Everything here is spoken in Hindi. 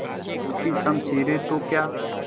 टूटी शमशीरें तो क्या